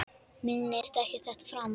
Minnist ekki á þetta framar.